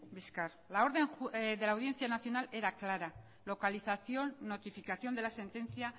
bizkar la orden de la audiencia nacional era clara localización notificación de la sentencia